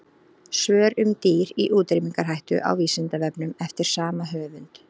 Svör um dýr í útrýmingarhættu á Vísindavefnum eftir sama höfund.